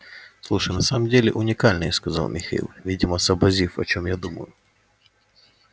слушай на самом деле уникальный сказал михаил видимо сообразив о чём я думаю